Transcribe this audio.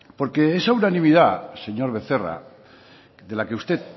porque esa unanimidad señor becerra de la que usted